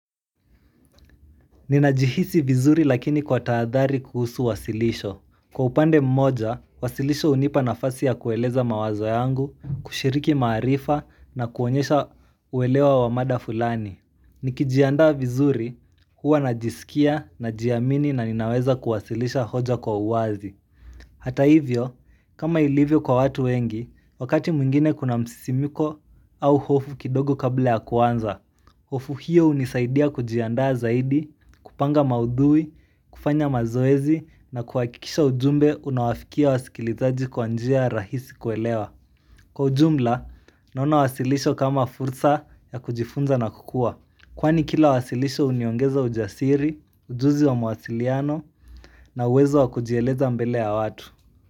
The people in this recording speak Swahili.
Ninajihisi vizuri lakini kwa taadhari kuhusu wasilisho. Kwa upande mmoja, wasilisho unipa nafasi ya kueleza mawazo yangu, kushiriki maarifa na kuonyesha uelewa wa mada fulani Nikijiandaa vizuri, huwa najisikia, najiamini na ninaweza kuwasilisha hoja kwa uwazi Hata hivyo, kama ilivyo kwa watu wengi, wakati mwingine kuna msisimiko au hofu kidogo kabla ya kuanza Ofu hiyo hunisaidia kujiandaa zaidi, kupanga maudhui, kufanya mazoezi na kuhakikisha ujumbe unawafikia wa sikilizaji kwanjia rahisi kuelewa Kwa ujumla, naona wasilisho kama fursa ya kujifunza na kukua. Kwani kila wasilisho uniongeza ujasiri, ujuzi wa mwasiliano na uwezo wa kujieleza mbele ya watu.